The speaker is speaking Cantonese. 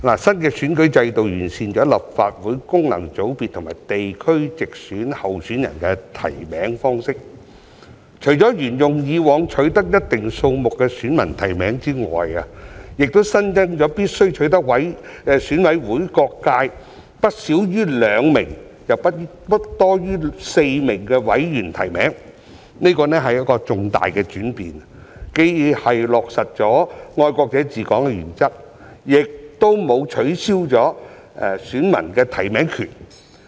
新的選舉制度完善了立法會功能界別和地區直選候選人的提名方式，除了沿用以往取得一定數目的選民提名之外，亦新增了必須取得選委會每個界別不少於兩名、又不多於4名委員的提名，這是重大的轉變，既落實了"愛國者治港"的原則，亦沒有取消選民的提名權。